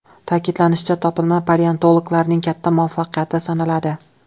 Ta’kidlanishicha, topilma paleontologlarning katta muvaffaqiyati sanaladi.